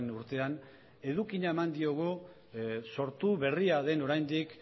urtean edukia eman diogu sortu berria den oraindik